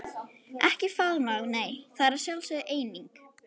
Ekki faðmlag nei, það er sjálfsögð eining.